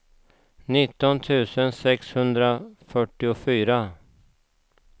nitton tusen sexhundrafyrtiofyra